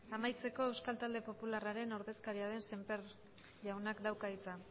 amaitzeko euskal talde popularraren ordezkaria den semper jaunak dauka hitza